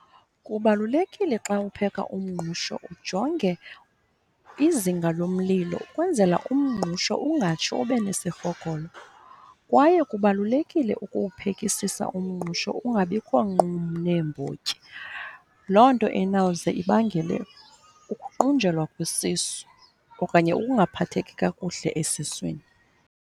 Kubalulekile xa upheka umngqusho ujonge izinga lomlilo ukwenzela umngqusho ungatshi ube nesirhogolo. Kwaye kubalulekile ukuwuphekasisa umngqusho ungabikho nqum neembotyi. Loo nto enawuze ibangele ukuqunjelwa kwesisu okanye ukungaphatheki kakuhle esiswini.